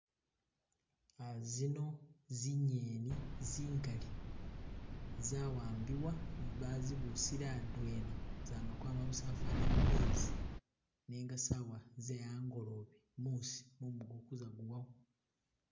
Ah zino zingeni zingali zawambibwa bazibusile adwena zama kwama busa fana mumezi nenga sawa ze'angolobe musi mumu khagutsa kuwako